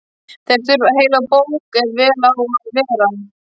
Þeir þurfa heila bók ef vel á að vera.